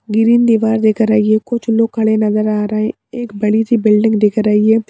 Green दीवार दिख रही है कुछ लोग खड़े नजर आ रहे एक बड़ी सी बिल्डिंग दिख रही है।